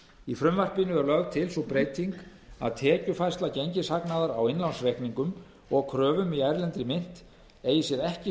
í frumvarpinu er lögð til sú breyting að tekjufærsla gengishagnaðar á innlánsreikningum og kröfum í erlendri mynt eigi sér ekki